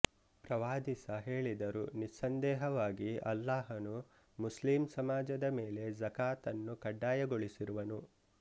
ಪ್ರವಾದಿಸ ಹೇಳಿದರು ನಿಸ್ಸಂದೇಹವಾಗಿ ಅಲ್ಲಾಹನು ಮುಸ್ಲಿಂ ಸಮಾಜದ ಮೇಲೆ ಝಕಾತನ್ನು ಕಡ್ಡಾಯಗೊಳಿಸಿರುವನು